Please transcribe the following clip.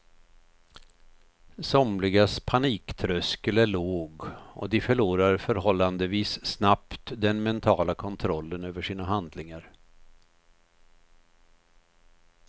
Somligas paniktröskel är låg och de förlorar förhållandevis snabbt den mentala kontrollen över sina handlingar.